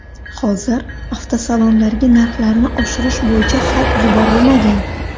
Hozir avtosalonlarga narxlarni oshirish bo‘yicha xat yuborilmagan.